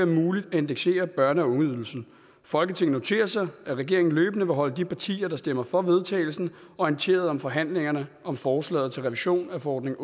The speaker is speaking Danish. muligt at indeksere børne og ungeydelsen folketinget noterer sig at regeringen løbende vil holde de partier der stemmer for vedtagelse orienteret om forhandlingerne om forslaget til revision af forordning